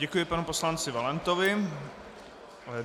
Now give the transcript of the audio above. Děkuji panu poslanci Valentovi.